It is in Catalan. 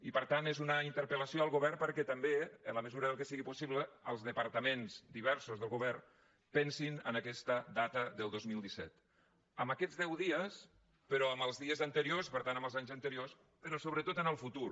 i per tant és una interpel·lació al govern perquè també en la mesura del que sigui possible els departaments diversos del govern pensin en aquesta data del dos mil disset en aquests deu dies però en els dies anteriors per tant en els anys anteriors però sobretot en el futur